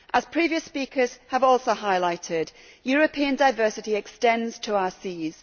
As previous speakers have also highlighted, European diversity extends to our seas.